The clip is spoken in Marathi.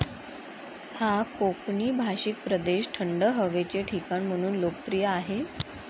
हा कोकनी भाषिक प्रदेश थंड हवेचे ठिकाण म्हणून लोकप्रिय आहे.